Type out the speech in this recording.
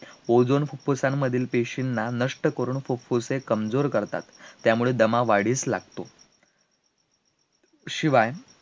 Ozone फुफ्फुसांमधील पेशीना नष्ट करून फुफ्फुसे कमजोर करतात, त्यामुळे दमा वाढीस लागतो, शिवाय